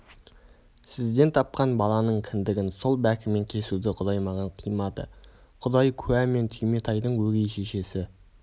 сізден тапқан баланың кіндігін сол бәкімен кесуді құдай маған қимады құдай куә мені түйметайдың өгей шешесі